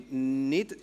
Es wird nicht …